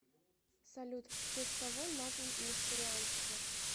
салют в честь кого назван несторианство